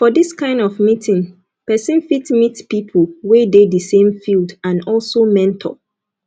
for this kind of meeting person fit meet pipo wey dey di same field and also mentor